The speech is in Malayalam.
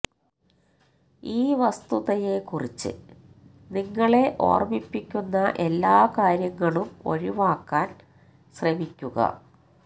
ഈ വസ്തുതയെക്കുറിച്ച് നിങ്ങളെ ഓർമിപ്പിക്കുന്ന എല്ലാ കാര്യങ്ങളും ഒഴിവാക്കാൻ ശ്രമിക്കുക